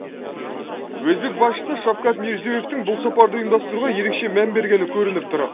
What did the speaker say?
өзбек басшысы шафкат мирзиёевтің бұл сапарды ұйымдастыруға ерекше мән бергені көрініп тұр